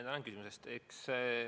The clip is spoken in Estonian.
Tänan küsimuse eest!